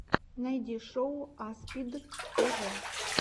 найти шоу аспид тв